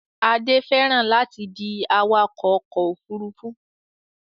Adé fẹ́ràn láti di awakọ̀ ọkọ̀-òfurufú